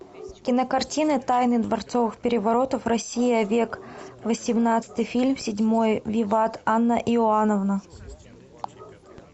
кинокартина тайны дворцовых переворотов россия век восемнадцатый фильм седьмой виват анна иоанновна